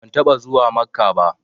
Ban taɓa zuwa Makkah ba